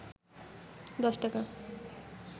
১০ টাকা